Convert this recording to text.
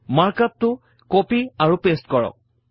mark up টো copy আৰু paste কৰক